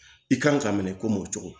I kan ka minɛ kom'o cogo